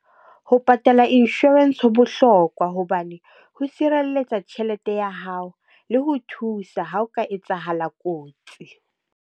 Ho patala insurance, ho bohlokwa. Hobane ho sireletsa tjhelete ya hao le ho thusa ha o ka etsahala kotsi.